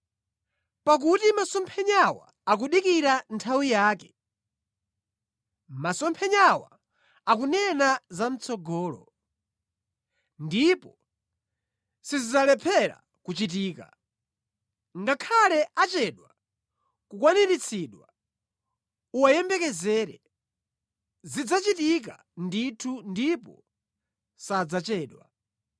Pakuti masomphenyawa akudikira nthawi yake; masomphenyawa akunena zamʼtsogolo ndipo sizidzalephera kuchitika. Ngakhale achedwe kukwaniritsidwa, uwayembekezere; zidzachitika ndithu ndipo sadzachedwa.